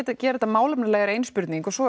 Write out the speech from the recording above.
að gera þetta málefnalega er ein spurning og svo